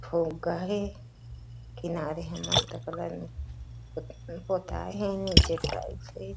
हे किनारे ह मस्त कलर म पोताय हे नीचे टाइल्स हे।